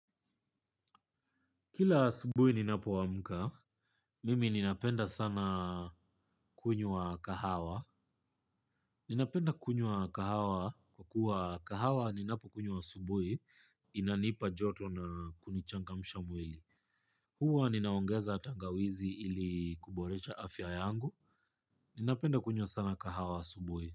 Kila asubui ninapoamka, mimi ninapenda sana kunywa kahawa. Ninapenda kunywa kahawa kwa kuwa kahawa ninapokunywa asubui, inanipa joto na kunichangamsha mwili. Huwa ninaongeza tangawizi ili kuborecha afya yangu. Ninapenda kunyua sana kahawa subuhi.